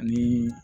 Ani